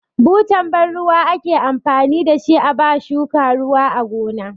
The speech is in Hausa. Butan ban ruwa ake amfani da shi a ba shuka ruwa a gona.